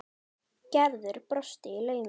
Gerður brosti í laumi.